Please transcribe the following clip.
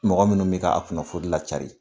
Mɔgɔ munnu bi ka a kunnafoni la cari.